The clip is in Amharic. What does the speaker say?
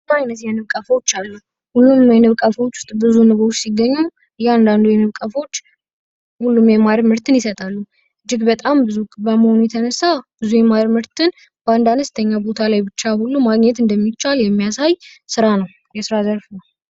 ዘመናዊ የንብ ቀፎዎች አሉ። ሁሉንም የንብ ቀፎዎች ዉስጥ ብዙ ንቦች ሲገኙ እያንዳንዱ የንብ ቀፎዎች ማር ምርትን ይሰጣሉ። እጅግ በጣም ብዙ በመሆኑ የተነሳ ብዙ የማር ምርትን በአንድ አነስተኛ ቦታ ላይ ብቻ ማግኘት እንደሚቻል የሚያሳይ ስራ ነዉ። የስራ ዘርፍ ነዉ።